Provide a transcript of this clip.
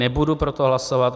Nebudu pro to hlasovat.